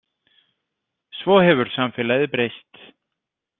Svo hefur samfélagið breyst.